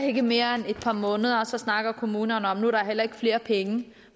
ikke mere end et par måneder så snakker kommunerne om at nu er der heller ikke flere penge